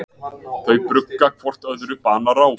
Þau brugga hvort öðru banaráð.